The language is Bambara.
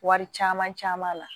Wari caman caman na